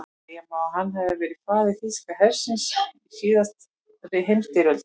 Segja má að hann hafi verið faðir þýska hersins í síðari heimsstyrjöldinni.